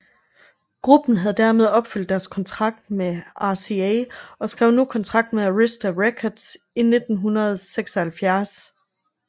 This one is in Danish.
Gruppen havde dermed opfyldt deres kontrakt med RCA og skrev nu kontrakt med Arista Records i 1976